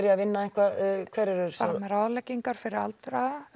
að vinna eitthvað hann er með ráðleggingar fyrir aldraða og